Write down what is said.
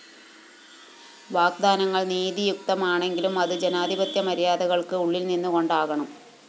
വാഗ്വാദങ്ങള്‍ നീതിയുക്തമാണെങ്കിലും അത്‌ ജനാധിപത്യ മര്യാദകള്‍ക്ക്‌ ഉള്ളില്‍ നിന്നു കൊണ്ടാകണം